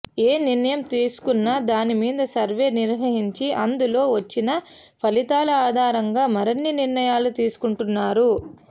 ఏ నిర్ణయం తీసుకున్నా దాని మీద సర్వే నిర్వహించి అందులో వచ్చిన ఫలితాల ఆధారంగా మరిన్ని నిర్ణయాలు తీసుకుంటున్నారు